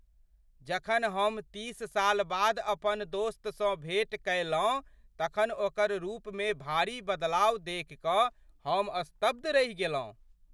जखन हम तीस साल बाद अपन दोस्तसँ भेट कयलहुँ तखन ओकर रूपमे भारी बदलाव देखि कऽ हम स्तब्ध रहि गेलहुँ।